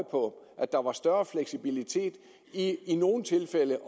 på at der var større fleksibilitet ved i nogle tilfælde